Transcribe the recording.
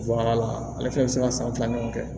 la ale fɛnɛ bɛ se ka san fila ɲɔgɔn kɛ